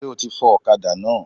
Sé o ti fọ òkadá náà?